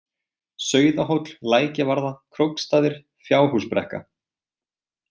Sauðahóll, Lækjavarða, Króksstaðir, Fjárhúsbrekka